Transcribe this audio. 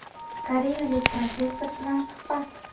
Koreyalik professor bilan suhbat.